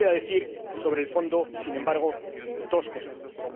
Sí quisiera decir sobre el fondo, sin embargo, dos cosas más.